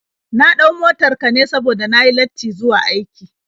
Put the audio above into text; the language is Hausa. Na ɗau motar ka ne saboda na yi lattin zuwa aiki.